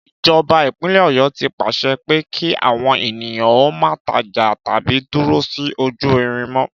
Ìjọba ìpínlè Ọ̀yọ́ ti pàṣẹ pé kí àwọn ènìyàn ó má tajà tàbí dúró sí ojú irin mọ́